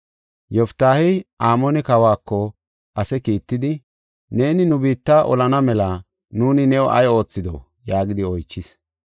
Yoftaahey Amoone kawako ase kiittidi, “Neeni nu biitta olana mela nuuni new ay oothido?” yaagidi oychis.